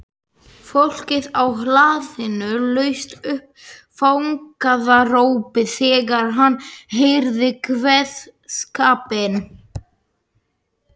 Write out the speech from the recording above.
Fólkið á hlaðinu laust upp fagnaðarópi þegar það heyrði kveðskapinn.